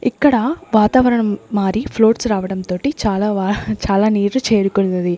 ఇక్కడ వాతావరణం మారి ఫ్లోట్స్ రావడం తోటి చాలా చాలా నీర్లు చేరుకున్నది.